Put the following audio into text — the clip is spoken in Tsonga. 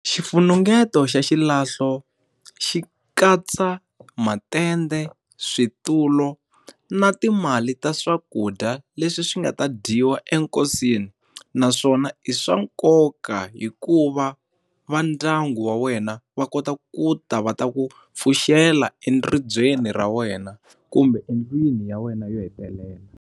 Xifunengeto xa xilahlo xi katsa matende, switulu, na timali ta swakudya leswi swi nga ta dyiwa ekosini naswona i swa nkoka hikuva va ndyangu wa wena va kota ku ta va ta ku pfuxela ribyeni ra wena kumbe endlwini ya wena yo hetelela.